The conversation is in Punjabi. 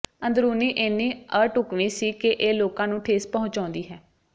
ਅੰਦਰੂਨੀ ਇੰਨੀ ਅਢੁੱਕਵੀਂ ਸੀ ਕਿ ਇਹ ਲੋਕਾਂ ਨੂੰ ਠੇਸ ਪਹੁੰਚਾਉਂਦੀ ਹੈ